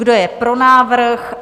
Kdo je pro návrh?